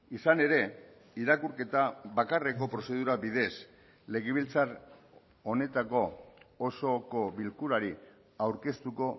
izan ere irakurketa bakarreko prozedura bidez legebiltzar honetako osoko bilkurari aurkeztuko